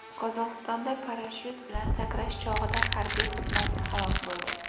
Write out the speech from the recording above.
Qozog‘istonda parashyut bilan sakrash chog‘ida harbiy xizmatchi halok bo‘ldi.